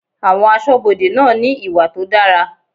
Àwọn aṣọbode náà ní ìwà tó dára.